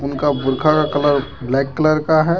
उनका बुर्का का कलर ब्लैक कलर का है।